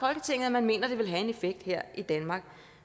man mener at det vil have en effekt her i danmark